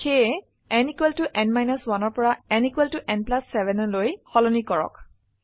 সেয়ে n n 1 পৰা n n 7লৈ সলনি কৰক